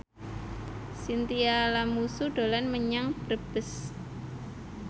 Chintya Lamusu dolan menyang Brebes